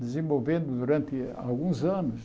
desenvolvendo durante alguns anos.